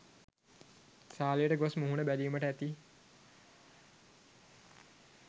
සාලයට ගොස් මුහුණ බැලීමට ඇති